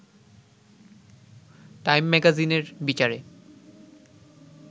time ম্যাগাজিনের বিচারে